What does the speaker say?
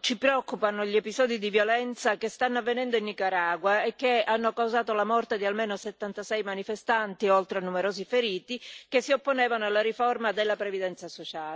ci preoccupano gli episodi di violenza che stanno avvenendo in Nicaragua e che hanno causato la morte di almeno 76 manifestanti, oltre a numerosi feriti che si opponevano alla riforma della previdenza sociale.